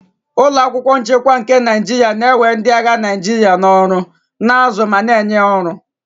Ụlọ akwụkwọ nchekwa nchekwa nke Naijiria na-ewe ndị agha Naijiria ọrụ, na-azụ ma na-enye ọrụ